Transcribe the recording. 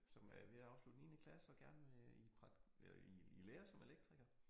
Som øh er ved at afslutte 9. klasse og gerne vil i eller i i lære som elektriker